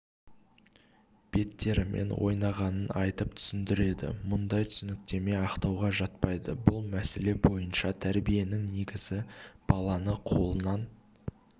беттерімен ойнағанын айтып түсіндіреді мұндай түсініктеме ақтауға жатпайды бұл мәселе бойынша тәрбиенің негізі баланы қолынан